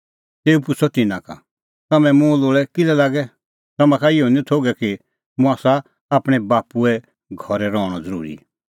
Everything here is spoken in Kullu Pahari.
तेऊ पुछ़अ तिन्नां का तम्हैं मुंह लोल़ै किल्है लागै तम्हां का इहअ निं थोघै कि मुंह आसा आपणैं बाप्पूए घरै रहणअ ज़रूरी